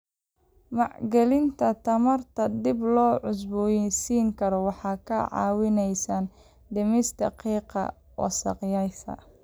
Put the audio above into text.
Maalgelinta tamarta dib loo cusbooneysiin karo waxay ka caawinaysaa dhimista qiiqa wasakhaysan.